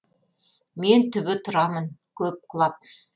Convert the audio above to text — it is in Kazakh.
мен түбі тұрамын көп құлап